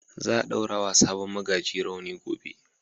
Za a ɗaura wa sabon magaji rawani gobe.